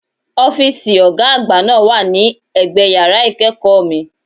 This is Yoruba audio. Ọ́fíìsì Ọ̀gá àgbà náà wà ní ẹ̀gbẹ yàrá ìkẹ́kọ̀ọ́ mi